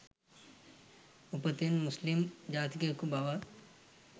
උපතින් මුස්ලිම් ජාතිකයෙකු බව